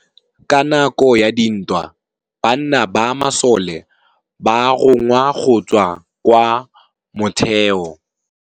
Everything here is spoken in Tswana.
Ka nakô ya dintwa banna ba masole ba rongwa go tswa kwa mothêô.